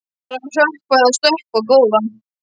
Það er að hrökkva eða stökkva, góða.